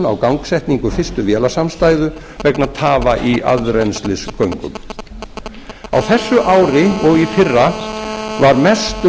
á gangsetningu fyrstu vélasamstæðu vegna tafa í aðrennslisgöngum á þessu ári og í fyrra var mest um sextán